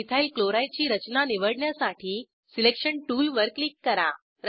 ethyl chloride ची रचना निवडण्यासाठी सिलेक्शन टूलवर क्लिक करा